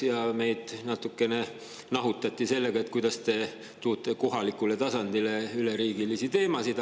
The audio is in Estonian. Siis meid natukene nahutati, et kuidas te toote kohalikule tasandile üleriigilisi teemasid.